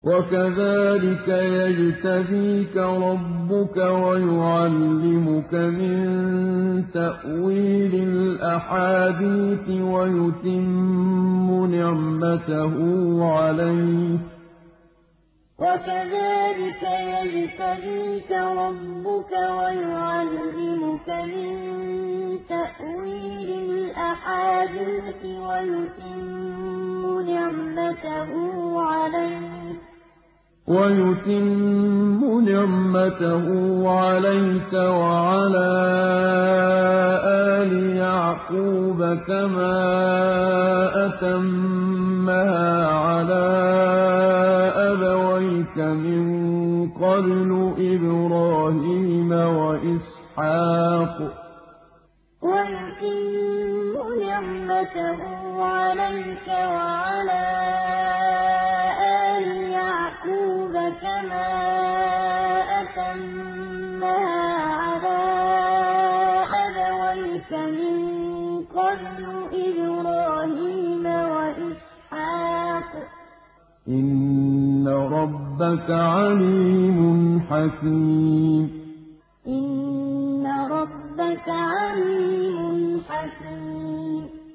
وَكَذَٰلِكَ يَجْتَبِيكَ رَبُّكَ وَيُعَلِّمُكَ مِن تَأْوِيلِ الْأَحَادِيثِ وَيُتِمُّ نِعْمَتَهُ عَلَيْكَ وَعَلَىٰ آلِ يَعْقُوبَ كَمَا أَتَمَّهَا عَلَىٰ أَبَوَيْكَ مِن قَبْلُ إِبْرَاهِيمَ وَإِسْحَاقَ ۚ إِنَّ رَبَّكَ عَلِيمٌ حَكِيمٌ وَكَذَٰلِكَ يَجْتَبِيكَ رَبُّكَ وَيُعَلِّمُكَ مِن تَأْوِيلِ الْأَحَادِيثِ وَيُتِمُّ نِعْمَتَهُ عَلَيْكَ وَعَلَىٰ آلِ يَعْقُوبَ كَمَا أَتَمَّهَا عَلَىٰ أَبَوَيْكَ مِن قَبْلُ إِبْرَاهِيمَ وَإِسْحَاقَ ۚ إِنَّ رَبَّكَ عَلِيمٌ حَكِيمٌ